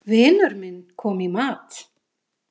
Vinur minn kom í mat.